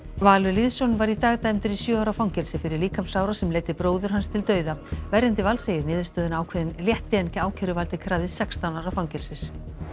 Valur Lýðsson var í dag dæmdur í sjö ára fangelsi fyrir líkamsárás sem leiddi bróður hans til dauða verjandi Vals segir niðurstöðuna ákveðinn létti en ákæruvaldið krafðist sextán ára fangelsis